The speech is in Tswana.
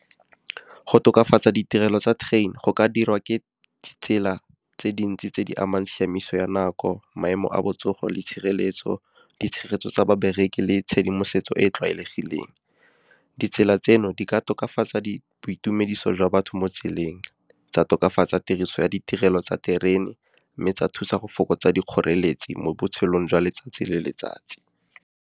Go tokafatsa ditirelo tsa train go ka dirwa ke tsela tse dintsi tse di amang tshiamiso ya nako, maemo a botsogo le tshireletso, ditshegetso tsa babereki le tshedimosetso e e tlwaelegileng. Ditsela tseno di ka tokafatsa boitumediso jwa batho mo tseleng, tsa tokafatsa tiriso ya ditirelo tsa terene, mme tsa thusa go fokotsa dikgoreletsi mo botshelong jwa letsatsi le letsatsi.